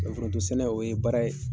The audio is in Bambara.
Foronto sɛnɛ o ye baara ye